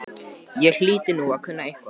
Ég hlyti nú að kunna eitthvað.